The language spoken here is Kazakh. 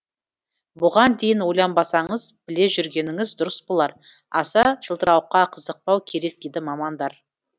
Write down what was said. бұған дейін ойланбасаңыз біле жүргеніңіз дұрыс болар аса жылтырауыққа қызықпау керек дейді мамандар